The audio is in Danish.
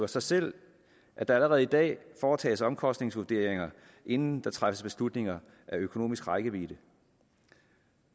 sig selv at der allerede i dag foretages omkostningsvurderinger inden der træffes beslutninger med økonomisk rækkevidde